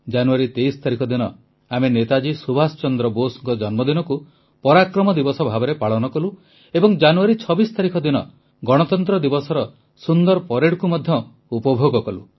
ଜାନୁଆରୀ 23 ତାରିଖ ଦିନ ଆମେ ନେତାଜୀ ସୁଭାଷ ଚନ୍ଦ୍ର ବୋଷଙ୍କ ଜନ୍ମଦିନକୁ ପରାକ୍ରମ ଦିବସ ଭାବେ ପାଳନ କଲୁ ଏବଂ ଜାନୁଆରୀ 26 ତାରିଖ ଦିନ ଗଣତନ୍ତ୍ର ଦିବସର ସୁନ୍ଦର ପରେଡକୁ ମଧ୍ୟ ଉପଭୋଗ କଲୁ